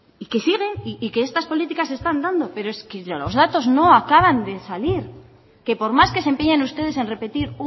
y que siguen y que estas políticas se están dando pero es que los datos no acaban de salir que por más que se empeñen ustedes en repetir